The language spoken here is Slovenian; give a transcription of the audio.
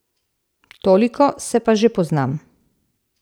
Toliko se pa že poznam.